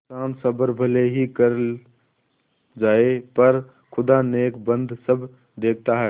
इन्सान सब्र भले ही कर जाय पर खुदा नेकबद सब देखता है